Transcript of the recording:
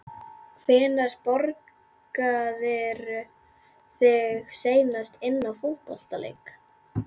Hvenær borgaðirðu þig seinast inná fótboltaleik?